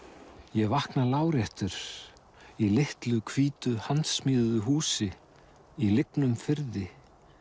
ég vakna láréttur í litlu hvítu húsi í lygnum firði